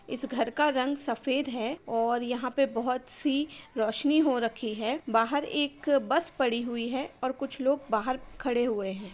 इस घर का रंग सफेद है और यहाँ पे बहुत सी रौशनी हो रखी है| बाहर एक बस पड़ी हुई है और कुछ लोग बाहर खड़े हुए है।